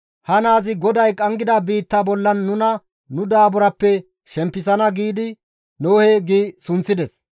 «Ha naazi GODAY qanggida biitta bollan nuna nu daaburappe shempisana» giidi Nohe gi sunththides.